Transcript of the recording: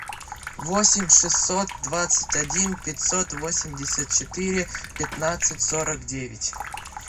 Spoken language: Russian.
восемь шестьсот двадцать один пятьсот восемьдесят четыре пятнадцать сорок девять